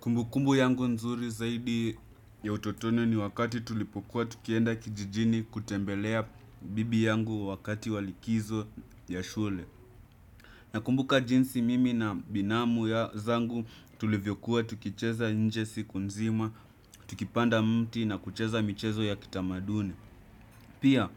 Kumbukumbu yangu nzuri zaidi ya utotoni ni wakati tulipokuwa tukienda kijijini kutembelea bibi yangu wakati wakati wa likizo ya shule. Nakumbuka jinsi mimi na binamu zangu tulivyokuwa tukicheza nje siku nzima, tukipanda mti na kucheza michezo ya kitamaduni pia,